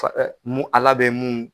Mun Ala bɛ mun